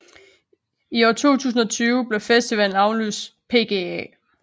I år 2020 blev festivallen aflyst pga